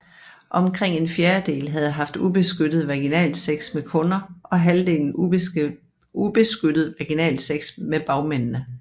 Omkring en fjerdedel havde haft ubeskyttet vaginalsex med kunder og halvdelen ubeskyttet vaginalsex med bagmændene